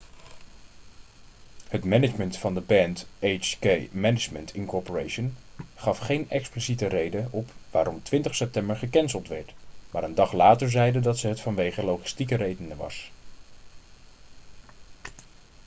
het management van de band hk management inc gaf geen expliciete reden op waarom 20 september gecanceld werd maar een dag later zeiden ze dat het vanwege logistieke redenen was